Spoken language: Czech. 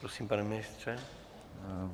Prosím, pane ministře.